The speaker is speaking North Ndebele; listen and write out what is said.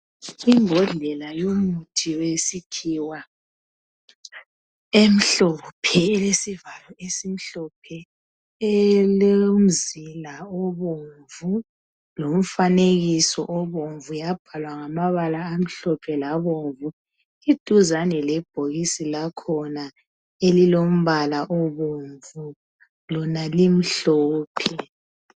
Imbodlela yomuthi wesikhiwa emhlophe, elesivalo esimhlophe, elomzila obomvu lomfanekiso obomvu, yabhalwa ngamabala amhlophe labomvu. Eduzane lebhokisi lakhona elilombala obomvu lona limhlophe.